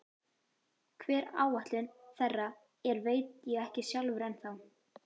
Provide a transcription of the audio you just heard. Hver áætlun þeirra er veit ég ekki sjálfur ennþá.